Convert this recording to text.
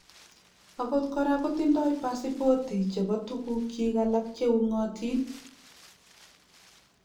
Akot kora kotindoi pasipoti chebo tukukyik alak che ungotin